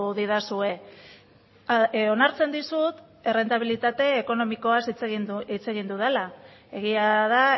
didazue onartzen dizut errentabilitate ekonomikoaz hitz egin dudala egia da